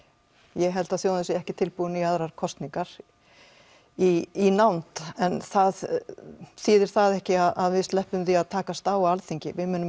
ég held að þjóðin sé ekki tilbúin í aðrar kosningar í nánd en það þýðir það ekki að við sleppum því að takast á á Alþingi við munum